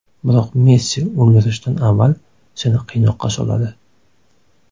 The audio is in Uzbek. Biroq Messi o‘ldirishdan avval seni qiynoqqa soladi.